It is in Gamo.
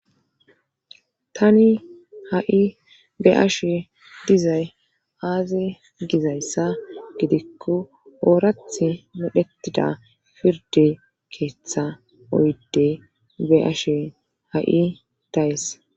tani ha'i be'ashe dizay aaze gizayssa gidikko oorath modhetida firde keeththa oyde be'ashe ha'i days